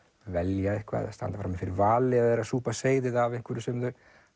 velja eitthvað eða standa frammi fyrir vali eða súpa seyðið af einhverju sem þau